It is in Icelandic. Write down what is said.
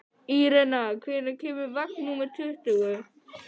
Irena, hvenær kemur vagn númer tuttugu?